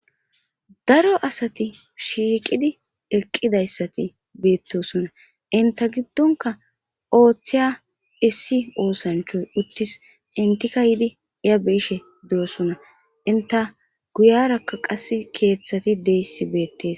daro asati shiiqidi eqqidayssati beettosonna inta giddonka ooththiya issi oosanchoy uttis intika yidi iya biishe de7osonna inta guyarakka qass keeththati deyssi beettes